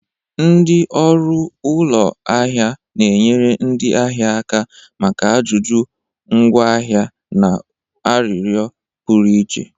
Ndị ọrụ ụlọ ahịa na-enyere ndị ahịa aka maka ajụjụ ngwaahịa na arịrịọ pụrụ iche.